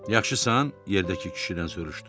Yaxşısan, yerdəki kişidən soruşdu.